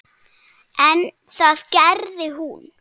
En það gerði hún.